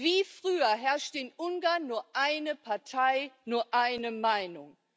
Wie früher herrscht in Ungarn nur eine Partei, nur eine Meinung.